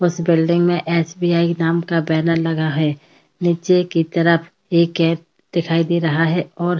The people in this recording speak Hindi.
उस बिल्डिंग में एस.बी.आई के नाम का बैनर लगा है। नीचे की तरफ एक कैब दिखाई दे रहा है और --